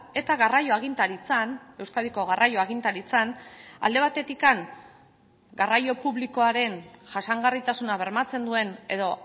eta garraio agintaritzan euskadiko garraio agintaritzan alde batetik garraio publikoaren jasangarritasuna bermatzen duen edo